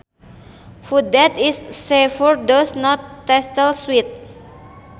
Food that is savoury does not taste sweet